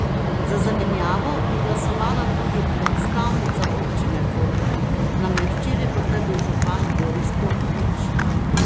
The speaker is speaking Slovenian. Za zamenjavo bi glasovala tudi predstavnica občine Koper, nam je včeraj potrdil župan Boris Popovič.